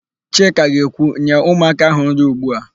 Chika ga-ekwu, "nye ụmụaka áhụ̀ nri ugbu a"!